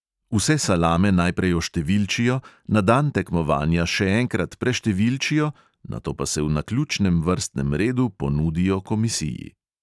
Vse salame najprej oštevilčijo, na dan tekmovanja še enkrat preštevilčijo, nato pa se v naključnem vrstnem redu ponudijo komisiji.